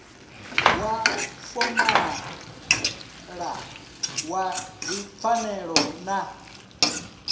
wa fomala wa dzipfanelo na